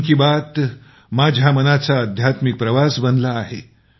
मन की बात माझ्या मनाचा अध्यात्मिक प्रवास बनला आहे